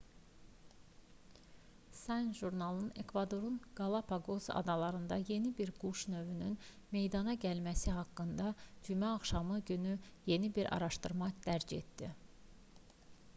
science jurnalı ekvadorun qalapaqos adalarında yeni bir quş növünün meydana gəlməsi haqqında cümə axşamı günü yeni bir araşdırma dərc etdi